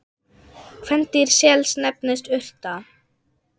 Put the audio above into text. Kvendýr sels nefnist urta.